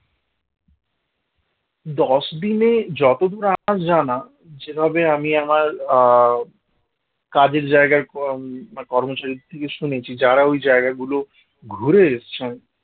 দশদিনে যতদূর আমার জানা, যেভাবে আমি আমার আহ কাজের জায়গার কর্মচারীর থেকে শুনেছি যারা ওই জায়গা গুলো ঘুরে এসছেন